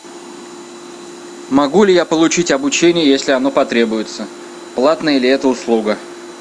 могу ли я получить обучение если оно потребуется платная ли это услуга